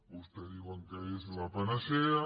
vostès diuen que és la panacea